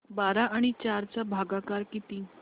बारा आणि चार चा भागाकर किती